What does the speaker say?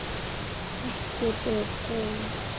Ekki þið hin!